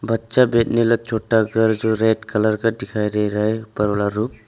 बच्चा भेजने वाला छोटा घर जो रेड कलर का डिखाई दे रहा है ऊपर वाला रूफ ।